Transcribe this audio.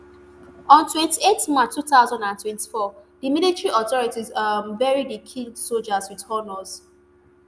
on twenty-eight march two thousand and twenty-four di military authorities um bury di killed soldiers wit honours